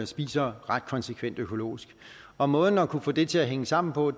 spiser ret konsekvent økologisk og måden at kunne få det til at hænge sammen på